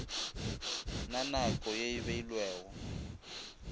na nako ye e beilwego